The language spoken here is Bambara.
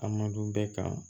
A man dun bɛɛ kan